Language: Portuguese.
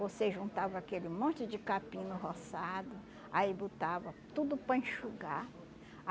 Você juntava aquele monte de capim no roçado, aí botava tudo para enxugar.